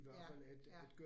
Ja, ja